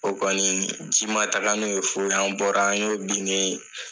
O kɔni ji ma taga n'o ye foyi , an bɔra an ye o binnen ye !